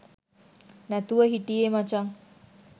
නැතුව හිටියේ මචන්.